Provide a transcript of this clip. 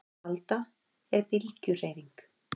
Alda er bylgjuhreyfing.